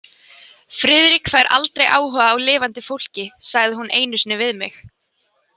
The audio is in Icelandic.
Friðrik fær aldrei áhuga á lifandi fólki, sagði hún einu sinni við mig.